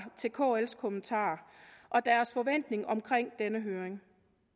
til kls kommentarer og deres forventning omkring denne høring